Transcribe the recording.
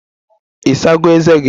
Ị sago ezé gị?